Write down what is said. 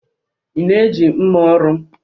ị na-eji mma ọrụ m